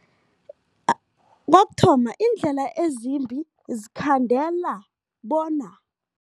Kokuthoma, iindlela ezimbi zikhandela bona.